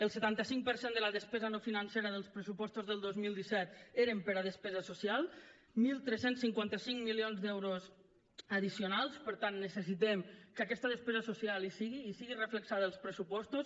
el setanta cinc per cent de la despesa no financera dels pressupostos del dos mil disset eren per a despesa social tretze cinquanta cinc milions d’euros addicionals per tant necessitem que aquesta despesa social hi sigui hi sigui reflectida als pressupostos